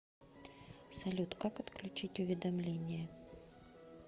салют как отключить уведомление